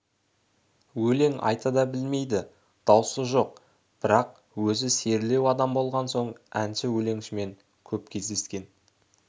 өлең айта да білмейді даусы жоқ бірақ өзі серілеу адам болған соң әнші-өлеңшімен көп кездескен